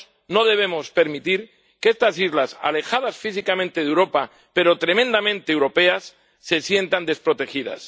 No debemos permitir que estas islas alejadas físicamente de Europa pero tremendamente europeas se sientan desprotegidas.